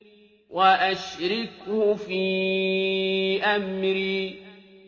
وَأَشْرِكْهُ فِي أَمْرِي